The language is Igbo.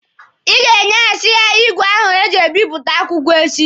Ị ga-enyehasi ya igwe ahụ eji ebipụta akwụkwọ echi!